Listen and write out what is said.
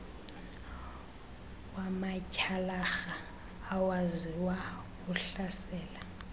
wamatyhalarha awaziwa uhlasela